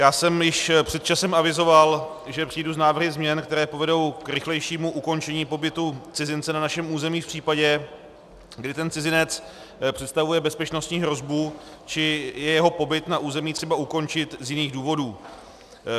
Já jsem již před časem avizoval, že přijdu s návrhy změn, které povedou k rychlejšímu ukončení pobytu cizince na našem území v případě, kdy ten cizinec představuje bezpečnostní hrozbu či je jeho pobyt na území třeba ukončit z jiných důvodů.